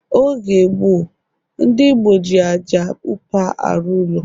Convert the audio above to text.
Oge gboo, ndị Igbo ji ájá upa arụ ụlọ